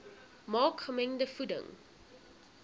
maak gemengde voeding